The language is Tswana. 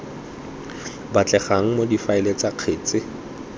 batlegang mo difaeleng tsa kgetsi